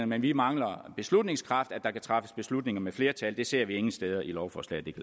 men vi mangler en beslutningskraft altså at der kan træffes beslutninger med flertal det ser vi ingen steder i lovforslaget kan